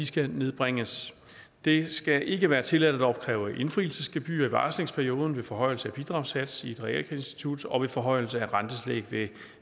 skal nedbringes det skal ikke være tilladt at opkræve indfrielsesgebyrer i varslingsperioden ved en forhøjelse af bidragssats i et realkreditinstitut og ved en forhøjelse af rentetillæg ved